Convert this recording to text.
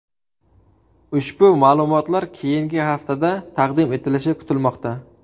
Ushbu ma’lumotlar keyingi haftada taqdim etilishi kutilmoqda.